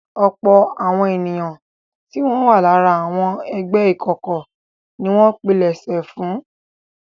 Ọ̀pọ̀ àwọn ènìyàn tí wọn wà lára àwọn ẹgbẹ́ ìkọ̀kọ̀ ni wọ́n pilẹ̀sẹ̀ fún un.